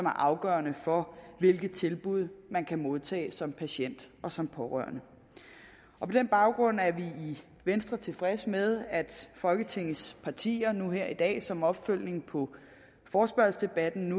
afgørende for hvilke tilbud man kan modtage som patient og som pårørende på den baggrund er vi i venstre tilfredse med at folketingets partier nu her i dag som opfølgning på forespørgselsdebatten